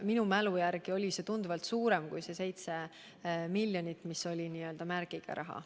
Minu mälu järgi oli see tunduvalt suurem kui 7 miljonit eurot, mis oli n-ö märgiga raha.